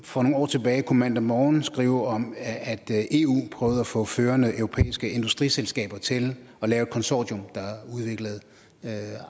for nogle år tilbage kunne mandag morgen skrive om at eu prøvede at få førende europæiske industriselskaber til at lave et konsortium der